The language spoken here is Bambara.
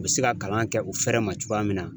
U be se ka kalan kɛ u fɛrɛ ma cogoya min na.